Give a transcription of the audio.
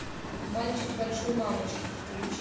мальчик большой мамочки подключи